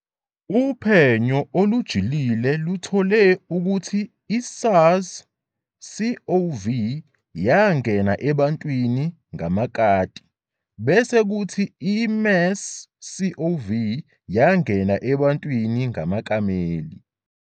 Uphenyo olujulile luthole ukuthi i-SARS-COV yangena ebantwini ngamakati, bese kuthi i-MERS-CoV yangena ebantwini ngamakameli.